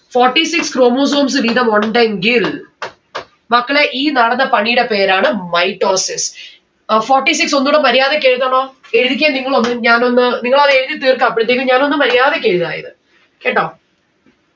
forty six chromosomes വീതം ഉണ്ടെങ്കിൽ മക്കളെ ഈ നടന്ന പണീടെ പേരാണ് mitosis അഹ് forty six ഒന്നുടെ മര്യാദക്ക് എഴുതണോ എഴുതിക്കെ നിങ്ങൾ ഒന്ന് ഞാൻ ഒന്ന് നിങ്ങൾ അത് എഴുതി തീർക്ക അപ്പഴെത്തെക്ക് ഞാൻ ഒന്ന് മര്യാദക്ക് എഴുതാ ഇത് കേട്ടോ?